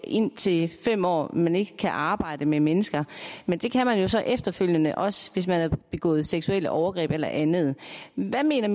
indtil fem år hvor man ikke kan arbejde med mennesker men det kan man jo så efterfølgende også hvis man har begået seksuelle overgreb eller andet hvad mener